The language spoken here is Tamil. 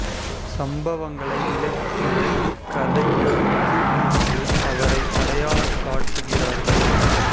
சம்பவங்களை விலக்கிய கதை எழுத்து என்று அவரை அடையாளம் காட்டுகிறார்கள்